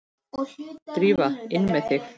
Drífa, inn með þig!